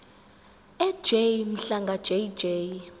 ej mhlanga jj